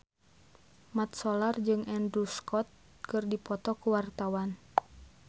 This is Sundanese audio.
Mat Solar jeung Andrew Scott keur dipoto ku wartawan